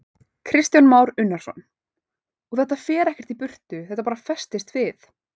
Kristján Már Unnarsson: Og þetta fer ekkert í burtu, þetta bara festist við?